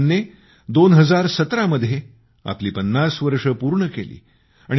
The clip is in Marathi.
आसियानने 2017मध्ये आपली 50 वर्षे पूर्ण केली